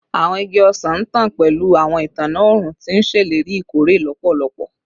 Awọn igi ọsan ntan pẹlu awọn itanna õrùn, ti n ṣeleri ikore lọpọlọpọ